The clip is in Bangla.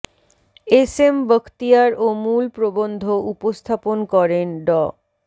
এস এম বখতিয়ার ও মূল প্রবন্ধ উপস্থাপন করেন ড